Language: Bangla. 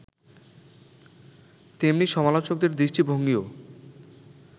তেমনি সমালোচকদের দৃষ্টিভঙ্গীও